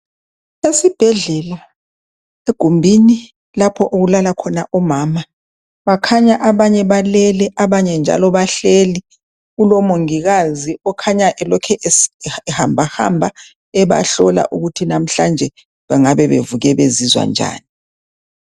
Esibhedlela egumbini lapho okulala khona omama bakhanya abanye balele abanye njalo bahleli kulomongikazi okhanya elokhu ehambahamba ebahlola ukuthi lamhlanje bengabe bevuke bezizwa njani.